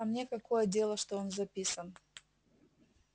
а мне какое дело что он записан